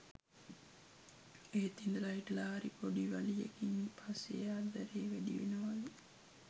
එත් ඉඳලාහිටලා හරි පොඩි වලියකින් පස්සේආදරේ වැඩී වෙලවලු